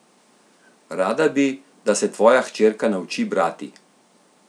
Rada bi, da se tvoja hčerka nauči brati?